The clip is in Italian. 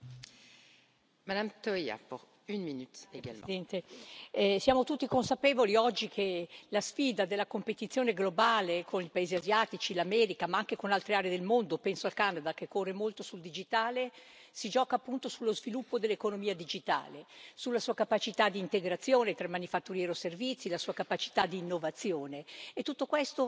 Signora Presidente, onorevoli colleghi, siamo tutti consapevoli oggi che la sfida della competizione globale con i paesi asiatici e l'America ma anche con altre aree del mondo, penso al Canada che corre molto sul digitale, si gioca appunto sullo sviluppo dell'economia digitale, sulla sua capacità di integrazione tra manifatturiero e servizi e la sua capacità di innovazione.